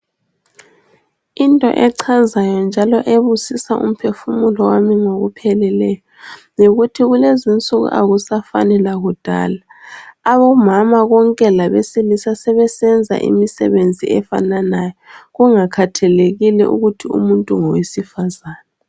Into echazayo njalo ebusisa umphefumulo wami ngokupheleleyo, yikuthi kulezinsuku akusafani lakudala. Omama bonke labesilisi sebesenza imsebenzi efananayo, kungakhathalekile ukuthi umuntu ngowesifazane.